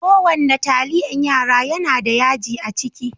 Ko wanna taliyan yara yana da yaji a ciki.